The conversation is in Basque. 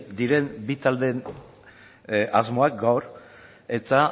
diren bi taldeen asmoak gaur eta